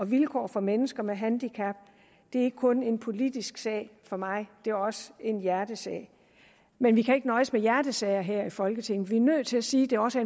vilkår for mennesker med handicap er ikke kun en politisk sag for mig det er også en hjertesag men vi kan ikke nøjes med hjertesager her i folketinget vi er nødt til at sige det også